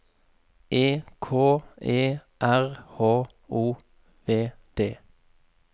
E K E R H O V D